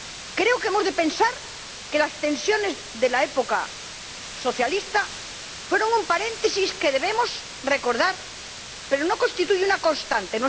Creo que hemos de pensar que las tensiones de la época socialista fueron un paréntesis que debemos recordar, pero no constituyen una constante.